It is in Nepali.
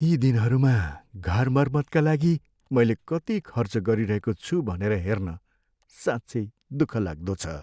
यी दिनहरूमा घर मर्मतका लागि मैले कति खर्च गरिरहेको छु भनेर हेर्न साँच्चै दुःखलाग्दो छ।